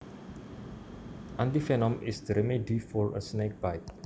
Antivenom is the remedy for a snake bite